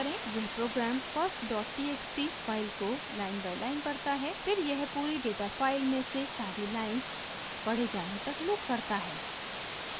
यह program firsttxt file को line by line पढ़ता है फिर यह पूरी data फाइल में से सारी लाइन्स पढ़े जाने तक लूप करता है